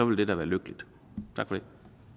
vil det da være lykkeligt tak